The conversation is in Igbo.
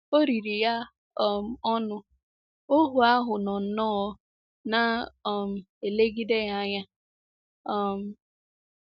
O riri ya um ọnụ, ohu ahụ nọ nnọọ “ na - um elegide ya anya. um ”